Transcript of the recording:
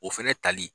O fɛnɛ tali